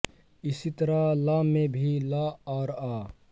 इसी तरह ल में भी ल् और अ